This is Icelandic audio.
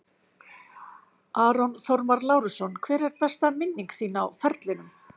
Aron Þormar Lárusson Hver er besta minning þín á ferlinum?